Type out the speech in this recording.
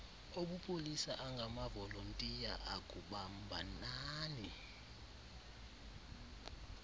obupolisa angamavolontiya akubambanani